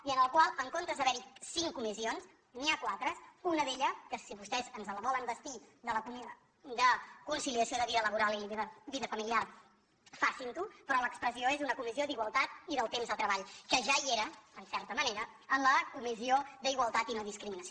i en el qual en comptes d’haver hi cinc comissions n’hi ha quatre una d’elles que si vostès ens la volen vestir de conciliació de vida laboral i vida familiar facin ho però l’expressió és una comissió d’igualtat i del temps de treball que ja hi era en certa manera en la comissió d’igualtat i nodiscriminació